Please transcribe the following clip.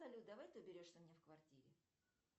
салют давай ты уберешься у меня в квартире